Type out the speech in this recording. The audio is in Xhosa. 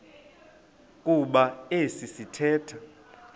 kuba esi sithethe